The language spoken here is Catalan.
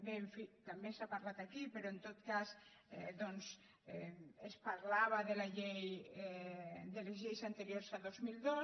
bé en fi també s’ha parlat aquí però en tot cas doncs es parlava de les lleis anteriors a dos mil dos